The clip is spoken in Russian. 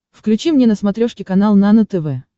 включи мне на смотрешке канал нано тв